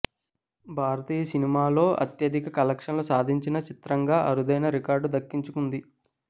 భారతీయ సినిమాలో అత్యధిక కలెక్షన్లు సాధించిన చిత్రంగా అరుదైన రికార్డు దక్కించు కుంది